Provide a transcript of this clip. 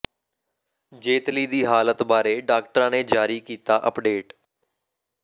ਜੇਤਲੀ ਦੀ ਹਾਲਤ ਬਾਰੇ ਡਾਕਟਰਾਂ ਨੇ ਜਾਰੀ ਕੀਤਾ ਅਪਡੇਟ